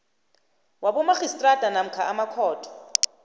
wabomarhistrada namkha emakhotho